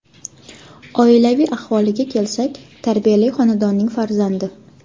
Oilaviy ahvoliga kelsak, tarbiyali xonadonning farzandi.